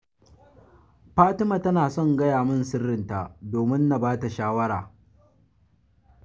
Fatima tana son gaya min sirrinta domin na ba ta shawara